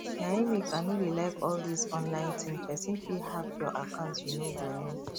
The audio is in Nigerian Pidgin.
na im make i no dey like all this online thing person fit hack your account you no go know